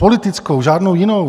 Politickou, žádnou jinou.